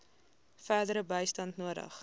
verdere bystand nodig